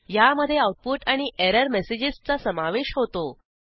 ह्यामधे आऊटपुट आणि एरर मेसेजेसचा समावेश होतो